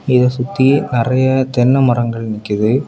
இத சுத்தி நெறைய தென்ன மரங்கள் நிக்கிது.